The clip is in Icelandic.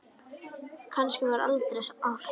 Kannski var það aldrei ást?